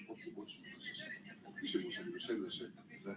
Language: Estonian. ... küsimus on ju selles, et ...